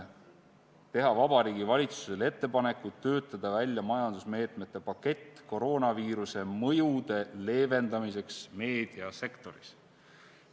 teha Vabariigi Valitsusele ettepaneku töötada välja majandusmeetmete pakett koroonaviiruse mõjude leevendamiseks meediasektoris.